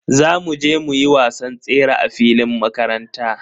Za mu je muyi wasan tsere a filin makaranta.